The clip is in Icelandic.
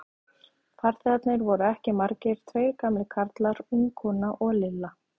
Farþegarnir voru ekki margir, tveir gamlir karlar, ung kona og Lilla.